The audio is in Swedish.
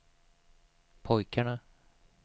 pojkarna